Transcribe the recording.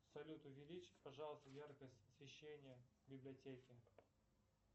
салют увеличить пожалуйста яркость освещения в библиотеке